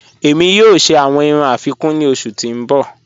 Ẹ̀mi yọọ̀ ṣẹ awọn irùn afikún ni ọṣù ti n bọ́.